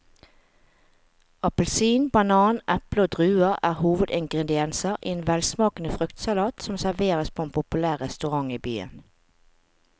Appelsin, banan, eple og druer er hovedingredienser i en velsmakende fruktsalat som serveres på en populær restaurant i byen.